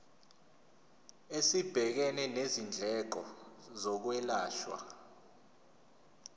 esibhekene nezindleko zokwelashwa